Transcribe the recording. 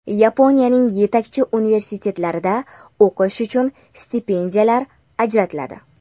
Yaponiyaning yetakchi universitetlarida o‘qish uchun stipendiyalar ajratiladi.